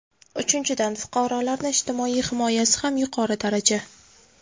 Uchinchidan, fuqarolarni ijtimoiy himoyasi ham yuqori daraja.